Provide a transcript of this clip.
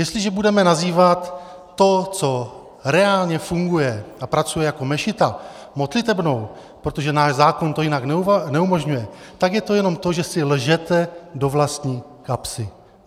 Jestliže budeme nazývat to, co reálně funguje a pracuje jako mešita, modlitebnou, protože náš zákon to jinak neumožňuje, tak je to jenom to, že si lžete do vlastní kapsy.